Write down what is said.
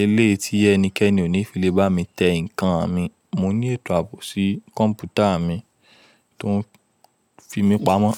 elé yi tí ẹnikẹ́ni ò ní fi lè bá mi tẹ ǹkan mi. Mo ní ètò ààbò sí kọ̀ǹpútà mi tó ń fi mí pamọ́.